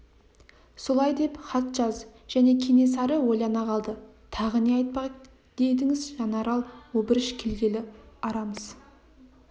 солай деп хат жаз және кенесары ойлана қалды тағы не айтпақ едіңіз жанарал обыріш келгелі арамыз